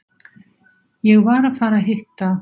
Ég var að fara að hitta